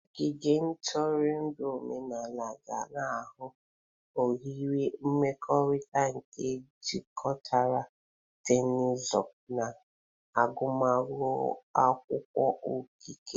Ogige ntụrụndụ omenala ga-aghọ oghere mmekọrịta nke jikọtara teknụzụ na agụmakwụkwọ okike.